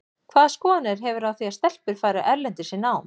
Hvaða skoðanir hefurðu á því að stelpur fari erlendis í nám?